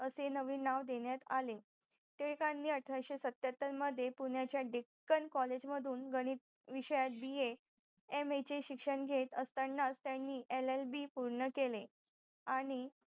असे नवीन नाव देण्यात आले टिळकांनी अठराशे सत्याहत्तर मदे पुणेच्या डीकंकॉलेज मधून गणित विषयात बॅ BAMA घेत असताना त्यांनी LLB पूर्ण केले आणि